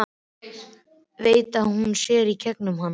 Veit að hún sér í gegnum hann.